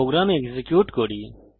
programme execute করা যাক